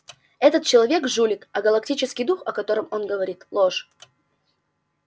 этот человек жулик а галактический дух о котором он говорит ложь